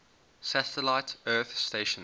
satellite earth stations